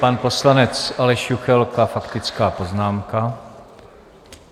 Pan poslanec Aleš Juchelka - faktická poznámka.